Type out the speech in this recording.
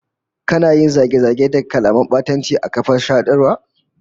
Kana yin zage-zage da kalaman batanci a kafar sadarwa?